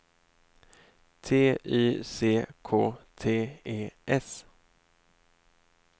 T Y C K T E S